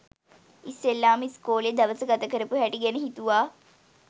ඉස්සෙල්ලාම ඉස්කෝලෙ දවස ගතකරපු හැටි ගැන හිතුවා